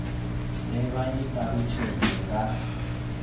de vha i talutshedze nga